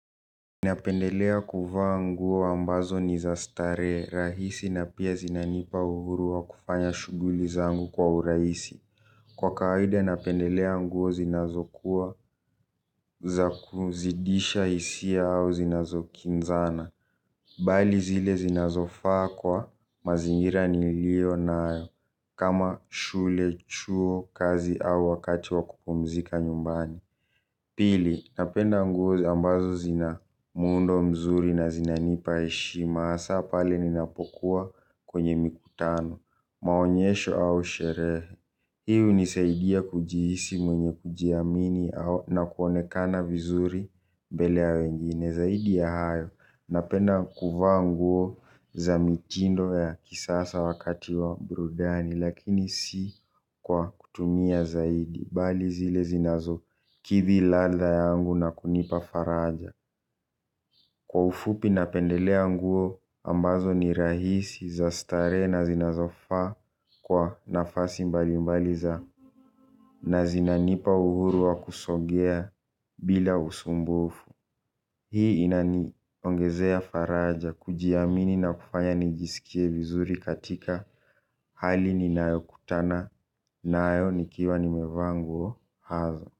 Napendelea kufa nguo ambazo ni zastare rahisi na pia zinanipa uhurua kufanya shuguli zangu kwa uraisi. Kwa kawaida napendelea nguo zinazokuwa za kuzidisha isia au zinazokinzana. Bali zile zinazofa kwa mazingira nilio nayo kama shule chuo kazi au wakati wa kupumzika nyumbani. Pili, napenda nguo ambazo zina mundo mzuri na zinanipa eshima hasa pale ninapokuwa kwenye mikutano maonyesho au sherehe hii hunisaidia kujihisi mwenye kujiamini na kuonekana vizuri mbele ya wengine zaidi ya hayo napenda kuvaa nguo za mitindo ya kisasa wakati wa brudani lakini si kwa kutumia zaidi bali zile zinazo kithi lada yangu na kunipa faraja. Kwa ufupi na pendelea nguo ambazo ni rahisi za stare na zinazo fa kwa nafasi mbali mbaliza na zinanipa uhuru wa kusogea bila usumbufu. Hii inani ongezea faraja kujiamini na kufanya nijisikie vizuri katika hali ni nayo kutana na ayo nikiwa nimevaa nguo hazo.